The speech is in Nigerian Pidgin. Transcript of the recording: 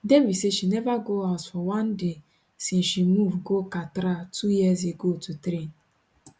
devi say she neva go house for one day since she move go katra two years ago to train